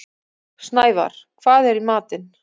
Snævarr, hvað er í matinn?